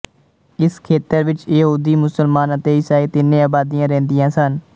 ਇਸ ਖੇਤਰ ਵਿੱਚ ਯਹੂਦੀ ਮੁਸਲਮਾਨ ਅਤੇ ਈਸਾਈ ਤਿੰਨੇ ਆਬਾਦੀਆਂ ਰਹਿੰਦੀਆਂ ਸਨ